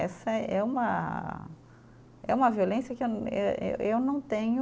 Essa é uma, é uma violência que eh eh eh, eu não tenho